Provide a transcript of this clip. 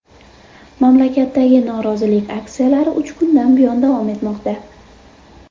Mamlakatdagi norozilik aksiyalari uch kundan buyon davom etmoqda.